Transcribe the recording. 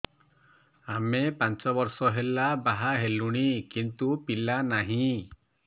ଆମେ ପାଞ୍ଚ ବର୍ଷ ହେଲା ବାହା ହେଲୁଣି କିନ୍ତୁ ପିଲା ନାହିଁ